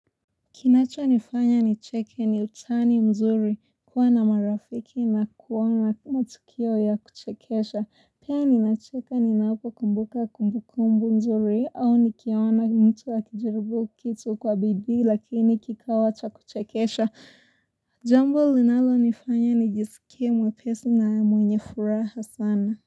Kinacho nifanya nicheke ni utani mzuri kuwa na marafiki na kuwa na matukio ya kuchekesha pia ninacheka ninapo kumbuka kumbukumbu nzuri au nikiona mtu akijaribu kitu kwa bidi lakini kikawa cha kuchekesha jambo linalo nifanya nijisikie mwepesi na mwenye furaha sana.